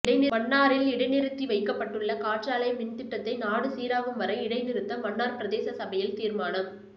மன்னாரில் இடைநிறுத்தி வைக்கப்பட்டுள்ள காற்றாலை மின் திட்டத்தை நாடு சீராகும் வரை இடை நிறுத்த மன்னார் பிரதேச சபையில் தீர்மானம்